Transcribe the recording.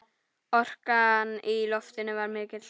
Orkan í loftinu var mikil.